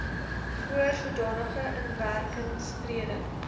voor sodanige inwerkingtreding